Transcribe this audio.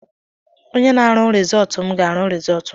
Onye na-arụ risọọtụ m ga-arụ rizọọtụ m.